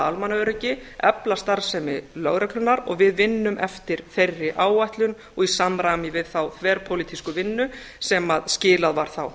almannaöryggi efla starfsemi lögreglunnar og við vinnum eftir þeirri áætlun og í samræmi við þá þverpólitísku vinnu sem skilað var þá